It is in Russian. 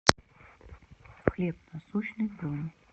хлеб насущный бронь